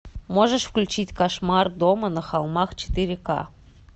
можешь включить кошмар дома на холмах четыре ка